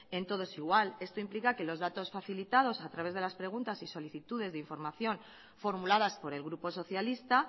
en todos igual esto implica que los datos facilitados a través de las preguntas y solicitudes de información formuladas por el grupo socialista